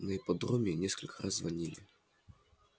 на ипподроме несколько раз звонили